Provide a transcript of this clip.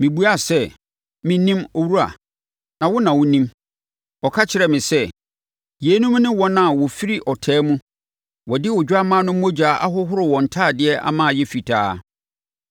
Mebuaa sɛ, “Mennim, owura. Na wo na wonim.” Ɔka kyerɛɛ me sɛ, “Yeinom ne wɔn a wɔafiri ɔtaa mu. Wɔde Odwammaa no mogya ahoro wɔn ntadeɛ ama ayɛ fitaa.